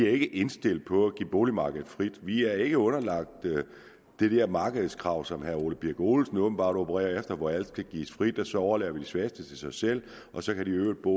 er indstillet på at give boligmarkedet frit vi er ikke underlagt det der markedskrav som herre ole birk olesen åbenbart opererer efter nemlig hvor alt skal gives frit og så overlader vi de svageste til sig selv og så kan de i øvrigt bo